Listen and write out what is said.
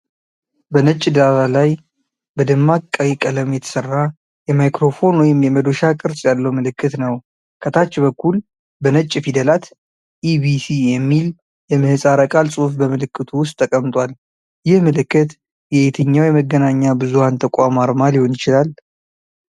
በነጭ ዳራ ላይ በደማቅ ቀይ ቀለም የተሠራ፣ የማይክሮፎን ወይም የመዶሻ ቅርፅ ያለው ምልክት ነው። ከታች በኩል በነጭ ፊደላት "ኢ.ቢ.ሲ" የሚል የምህፃረ ቃል ጽሑፍ በምልክቱ ውስጥ ተቀምጧል። ይህ ምልክት የየትኛው የመገናኛ ብዙሃን ተቋም አርማ ሊሆን ይችላል?